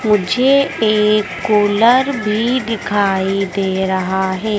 मुझे एक कूलर भी दिखाई दे रहा है।